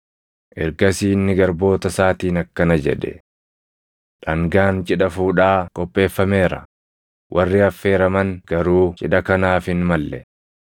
“Ergasii inni garboota isaatiin akkana jedhe; ‘Dhangaan cidha fuudhaa qopheeffameera; warri affeeraman garuu cidha kanaaf hin malle.